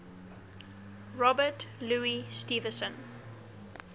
robert louis stevenson